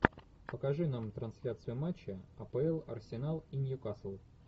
покажи нам трансляцию матча апл арсенал и ньюкасл